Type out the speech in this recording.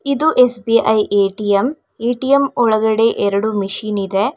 ಇದು S B I A T M A T M ಒಳಗಡೆ ಎರಡು ಮಷೀನ್ ಇದೆ.